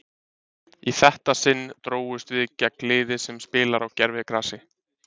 Í þetta sinn drógust við gegn liði sem spilar á gervigrasi.